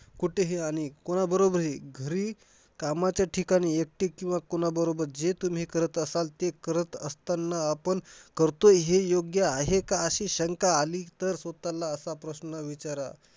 कुठेही आणि कोणाबरोबर ही घरी कामाच्या ठिकाणी एकटी किंवा कोणाबरोबर जे तुम्ही करत असाल ते करत असताना. आपण अह हे करतोय हे योग्य आहे का? अशी शंका आली तर, स्वतःला असा प्रश्न विचारा.